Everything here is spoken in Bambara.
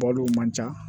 Balo man ca